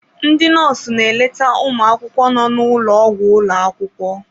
Ndị nọọsụ na-eleta ụmụ akwụkwọ nọ n'ulo ogwu ulo akwukwo.